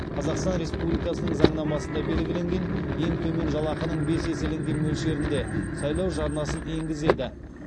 қазақстан республикасының заңнамасында белгіленген ең төмен жалақының бес еселенген мөлшерінде сайлау жарнасын енгізеді